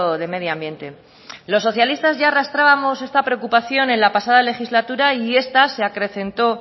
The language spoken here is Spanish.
de medio ambiente los socialistas ya arrastrábamos esta preocupación en la pasada legislatura y esta se acrecentó